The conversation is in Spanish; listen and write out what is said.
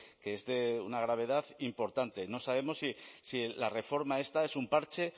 que es de una gravedad importante no sabemos si la reforma esta es un parche